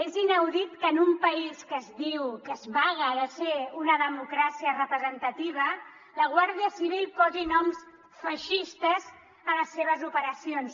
és inaudit que en un país que es diu que es vanta de ser una democràcia representativa la guàrdia civil posi noms feixistes a les seves operacions